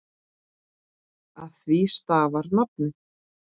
Af því stafar nafnið.